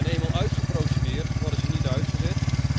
Eenmaal uitgeprocedeerd, worden ze niet uitgezet.